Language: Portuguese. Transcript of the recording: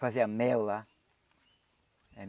Fazia mel lá.